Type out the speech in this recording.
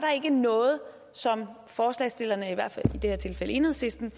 noget som forslagsstillerne i det her tilfælde enhedslisten